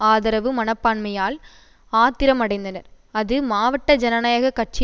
ஆதரவு மனப்பான்மையால் ஆத்திரம் அடைந்தனர் அது மாவட்ட ஜனநாயக கட்சி